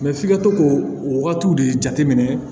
f'i ka to k'o o wagatiw de jateminɛ